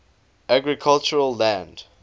agricultural land